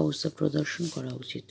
অবস্থা প্রদর্শন করা উচিত